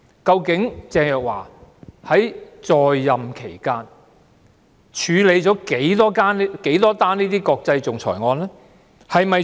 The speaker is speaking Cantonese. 究竟鄭若驊在任期間曾經處理多少宗國際仲裁案件？